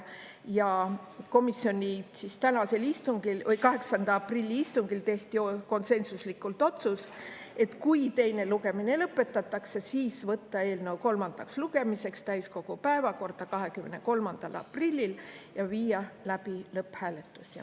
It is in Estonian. Ja komisjoni 8. aprilli istungil tehti konsensuslikult otsus, et kui teine lugemine lõpetatakse, siis võtta võtta eelnõu kolmandaks lugemiseks täiskogu päevakorda 23. aprillil ja viia läbi lõpphääletus.